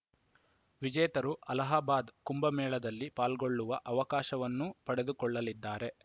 ವಿಜೇತರು ಅಲಹಾಬಾದ್‌ ಕುಂಭಮೇಳದಲ್ಲಿ ಪಾಲ್ಗೊಳ್ಳುವ ಅವಕಾಶವನ್ನೂ ಪಡೆದುಕೊಳ್ಳಲಿದ್ದಾರೆ